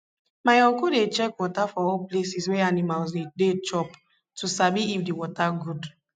my uncle dey check water for all places wey animals dey dey chop to sabi if the water good